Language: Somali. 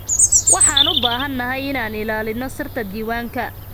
Waxaan u baahanahay inaan ilaalino sirta diiwaanka.